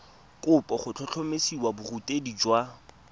kopo go tlhotlhomisa borutegi jwa